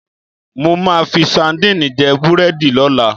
Mo máa fi sadíìnì jẹ́ búrẹ́dì lọ́la.